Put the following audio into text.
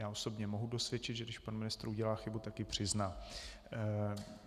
Já osobně mohu dosvědčit, že když pan ministr udělá chybu, tak ji přizná.